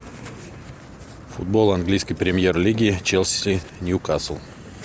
футбол английской премьер лиги челси ньюкасл